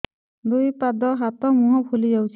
ଦୁଇ ପାଦ ହାତ ଏବଂ ମୁହଁ ଫୁଲି ଯାଉଛି